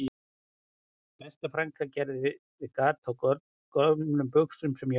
Besta frænka gerði við gat á gömlum buxum sem ég átti